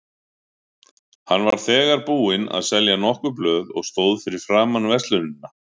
Hann var þegar búinn að selja nokkur blöð og stóð fyrir framan verslunina.